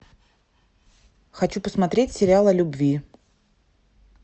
хочу посмотреть сериал о любви